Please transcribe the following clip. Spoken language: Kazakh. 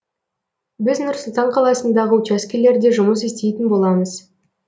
біз нұр сұлтан қаласындағы учаскелерде жұмыс істейтін боламыз